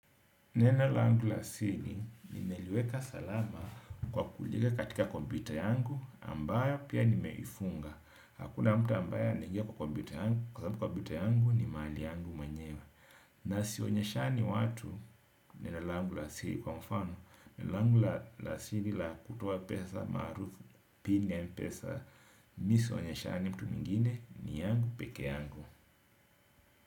Neno langu la siri nimeliweka salama kwa kuliweka katika kompyuta yangu ambayao pia nimeifunga. Hakuna mtu ambaye anaingia kwa kompyuta yangu kwa sababu kompyuta yangu ni mali yangu mwenyewe. Na si onyeshani watu neno langu la siri kwa mfano neno langu la siri la kutoa pesa maarufu pin ya mpesa mi sionyeshani mtu mwingine ni yangu peke yangu.